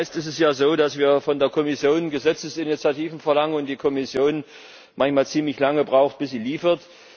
Meist ist es ja so, dass wir von der Kommission Gesetzesinitiativen verlangen und die Kommission manchmal ziemlich lange braucht, bis sie liefert.